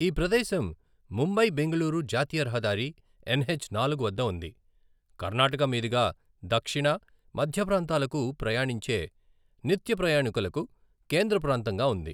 ఈ ప్రదేశం ముంబై బెంగళూరు జాతీయ రహదారి ఎన్హెచ్ నాలుగు వద్ద ఉంది, కర్ణాటక మీదుగా దక్షిణ, మధ్య ప్రాంతాలకు ప్రయాణించే నిత్యప్రయాణికులకు కేంద్ర ప్రాంతంగా ఉంది.